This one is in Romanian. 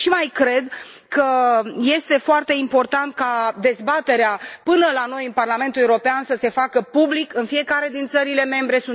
Mai cred și că este foarte important ca dezbaterea până la noi, în Parlamentul European, să se facă public în fiecare din țările membre.